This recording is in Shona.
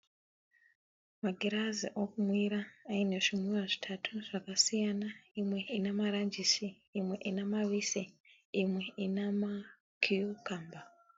Magirazi okunwira aine zvinwiwa zvitatu zvakasiana, imwe ine maranjisi, imwe ine mavise, imwe ine makiyukamba.